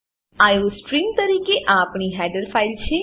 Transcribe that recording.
iostream તરીકે આ આપણી હેડર ફાઈલ છે